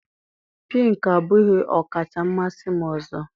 Pink abụghị ọkacha mmasị m ọzọ